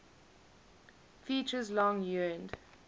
features long yearned